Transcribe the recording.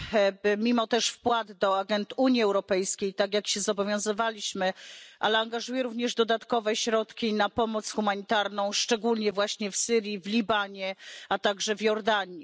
Oprócz wpłat do agend Unii Europejskiej, tak jak się zobowiązywaliśmy, angażuje również dodatkowe środki na pomoc humanitarną, szczególnie właśnie w Syrii, w Libanie, a także w Jordanii.